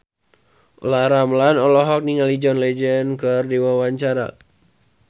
Olla Ramlan olohok ningali John Legend keur diwawancara